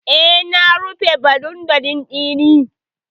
E, na rufe bonet ɗin.